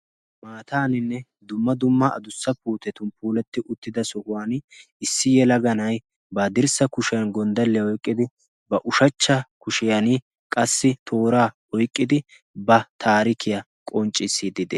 Maataaninne dumma dumma adussa puutetun puuletti uttida sohuwan issi yelaga na'ay ba dirssa kushiyan gonddalliyaa oiqqidi ba ushachcha kushiyan qassi tooraa oyqqidi ba taarikiyaa qonccissidd